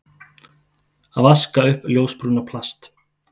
Að vaska upp ljósbrúna plast